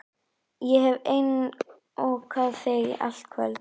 Ég hef einokað þig í allt kvöld.